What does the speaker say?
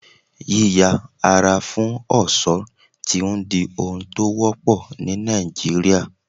Yí yà ara fún ọ̀ṣọ́ ti ń di ohun tó wọ́pọ̀ ni Nàìjíríà.